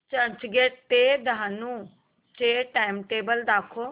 चर्चगेट ते डहाणू चे टाइमटेबल दाखव